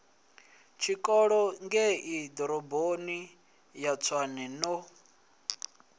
tshikolo ngeiḓoroboni ya tshwane no